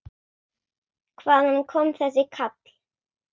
Hvaðan kom þessi kall?